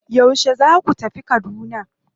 Yauce za ku tafi Kaduna?